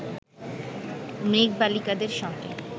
মেঘবালিকাদের সঙ্গে